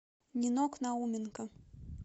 нинок науменко